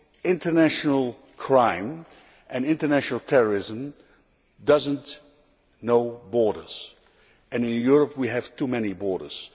International crime and international terrorism know no borders, and in Europe we have too many borders.